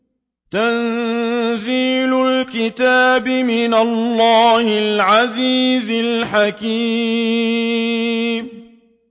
تَنزِيلُ الْكِتَابِ مِنَ اللَّهِ الْعَزِيزِ الْحَكِيمِ